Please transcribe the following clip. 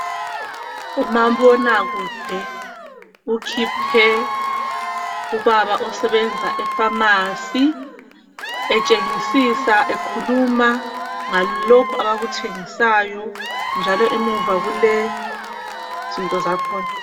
Umabonakude ukhiphe ubaba osebebenza epharmacy etshengisisa ekhuluma ngalokhu abakuthengisayo njalo emuva kulezinto zakhona.